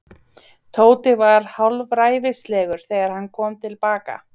Tóti var hálfræfilslegur þegar hann kom til baka.